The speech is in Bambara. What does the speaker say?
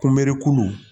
Kunbɛku